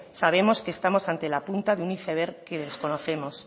sabemos que estamos ante la punta de un iceberg que desconocemos